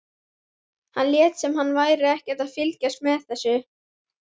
Hann lét sem hann væri ekkert að fylgjast með þessu.